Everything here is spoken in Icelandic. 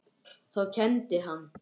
Þá kenndi hann.